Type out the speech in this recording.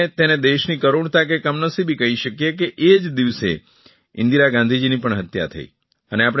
અને આપણે તેને દેશની કરૂણતા કે કમનસીબી કરી શકીએ કે તે જ દિવસે ઇન્દિરા ગાંધીજીની પણ હત્યા થઇ